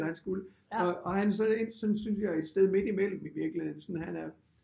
Eller han skulle og han så endt sådan synes jeg et sted ind midt imellem i virkeligheden sådan han er